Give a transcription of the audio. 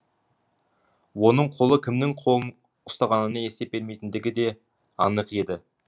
оның қолы кімнің қолын ұстағанына есеп бермейтіндігі де анық еді